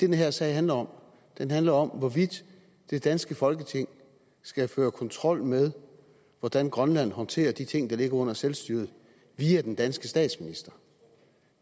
her sag handler om den handler om hvorvidt det danske folketing skal føre kontrol med hvordan grønland håndterer de ting der ligger under selvstyret via den danske statsminister